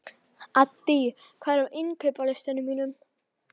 Addý, hvað er á innkaupalistanum mínum?